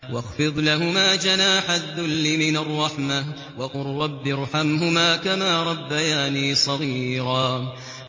وَاخْفِضْ لَهُمَا جَنَاحَ الذُّلِّ مِنَ الرَّحْمَةِ وَقُل رَّبِّ ارْحَمْهُمَا كَمَا رَبَّيَانِي صَغِيرًا